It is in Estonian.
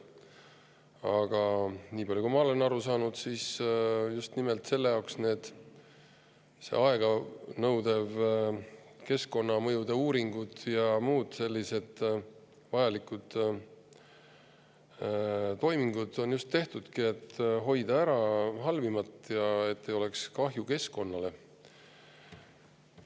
Aga nii palju, kui ma olen aru saanud, siis just nimelt selle jaoks need aeganõudvad keskkonnamõjude uuringud ja muud sellised vajalikud toimingud ongi tehtud, et hoida ära halvimat ja et ei tekiks kahju keskkonnale.